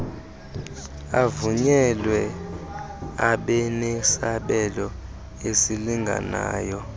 avunyelwe abenesabelo esilinganayo